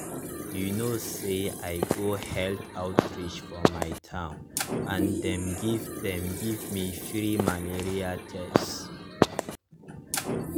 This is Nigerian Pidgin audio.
you no say i go health outreach for my town and dem give dem give me free malaria tests.